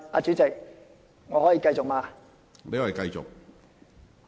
主席，我可以繼續嗎？